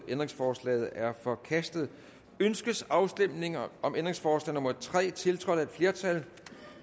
ændringsforslaget er forkastet ønskes afstemning om ændringsforslag nummer tre tiltrådt af et flertal